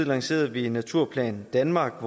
lancerede vi naturplan danmark